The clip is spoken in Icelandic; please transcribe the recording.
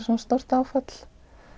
svona stórt áfall